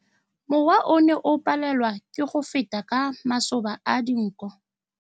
Mowa o ne o palelwa ke go feta ka masoba a dinko.